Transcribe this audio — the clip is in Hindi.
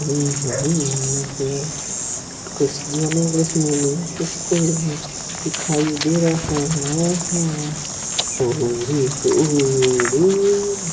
kids zone English medium school दिखाई दे रहा हा है और तो --